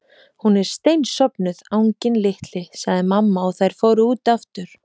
Hún er steinsofnuð, anginn litli sagði mamma og þær fóru út aftur.